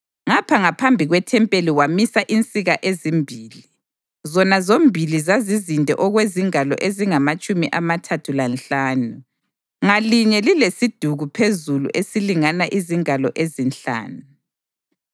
Ngapha ngaphambi kwethempeli wamisa insika ezimbili, zona zombili zazizinde okwezingalo ezingamatshumi amathathu lanhlanu, ngalinye lilesiduku phezulu esilingana izingalo ezinhlanu.